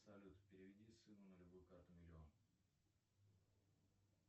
салют переведи сыну на любую карту миллион